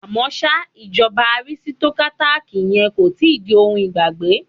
À mọ́ ṣá, ìjọba arisitokátákì yẹ kó ti di ohun ìgbàgbé.